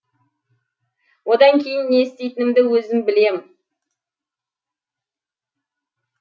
одан кейін не істейтінімді өзім білем